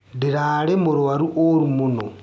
Ndĩrarĩ mũrwaru wũru mũno.